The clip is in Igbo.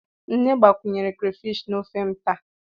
Nne gbakwunyere crayfish na ofe m taa.